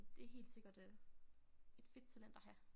Det helt sikkert øh et fedt talent at have